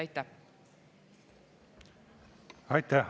Aitäh!